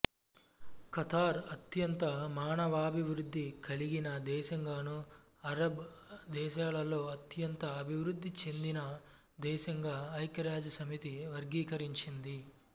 Qatar అత్యంత మానవాభివృద్ధి కలిగిన దేశంగానూ అరబ్ దేశాలలో అత్యంత అభివృద్ధి చెందిన దేశంగా ఐఖ్యరాజ్యసమితి వర్గీకరించింది